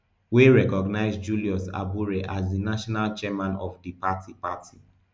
wey recognise julius abure as di national chairman of di party party